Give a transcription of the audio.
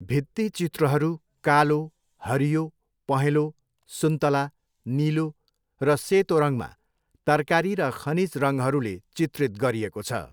भित्तिचित्रहरू कालो, हरियो, पहेंँलो, सुन्तला, निलो र सेतो रङमा तरकारी र खनिज रङहरूले चित्रित गरिएको छ।